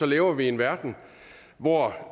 lever vi i en verden hvor